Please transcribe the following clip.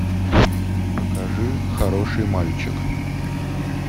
покажи хороший мальчик